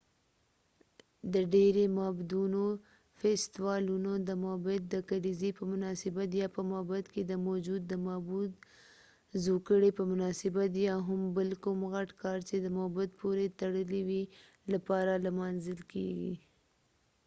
دډیری معبدونو فیستوالونه د معبد د کلیزی په مناسبت یا په معبد کې د موجود معبود د زوکړي په مناسبت یا هم بل کوم غټ کار چې د معبد پورې تړلی وي لپاره لمانځل کېږی